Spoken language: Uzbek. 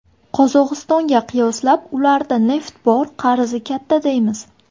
Qozog‘istonga qiyoslab, ularda neft bor, qarzi katta deymiz.